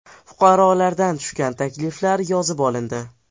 Fuqarolardan tushgan takliflar yozib olindi.